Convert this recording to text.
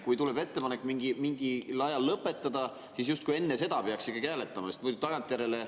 Kui tuleb ettepanek mingil ajal lõpetada, siis justkui enne seda peaks ikkagi hääletama, sest muidu tagantjärele …